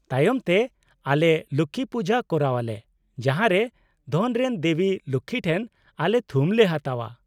-ᱛᱟᱭᱚᱢᱛᱮ, ᱟᱞᱮ ᱞᱚᱠᱠᱷᱤ ᱯᱩᱡᱟᱹ ᱠᱚᱨᱟᱣᱟᱞᱮ, ᱡᱟᱦᱟᱨᱮ ᱫᱷᱚᱱ ᱨᱮᱱ ᱫᱮᱵᱤ ᱞᱚᱠᱠᱷᱤ ᱴᱷᱮᱱ ᱟᱞᱮ ᱛᱷᱩᱢ ᱞᱮ ᱦᱟᱛᱟᱣᱼᱟ ᱾